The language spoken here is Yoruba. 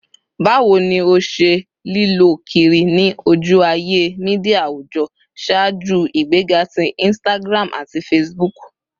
Bawo ni o ṣe lilö kiri ni oju-aye media awujọ ṣaaju igbega ti Instagram ati Facebook?